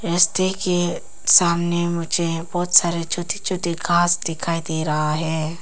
रस्ते के सामने मुझे बहुत छोटे छोटे घास दिखाई दे रहा है।